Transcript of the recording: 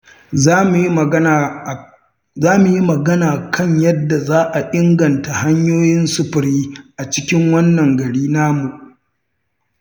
Za mu yi magana kan yadda za a inganta hanyoyin sufuri a cikin wannan gari namu.